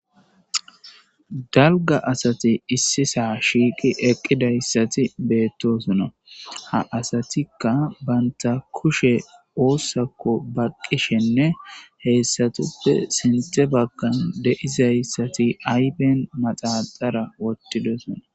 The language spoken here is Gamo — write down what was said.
dalga asati issisa shiiqi eqqidayssati beettosona ha asatikka banta kushe oossakko baqqishenne heessatuppe sinte baggan de'izayssati aypen maxaxara wottidosona